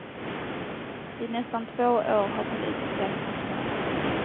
I nästan två år har polisen sökt hans mördare.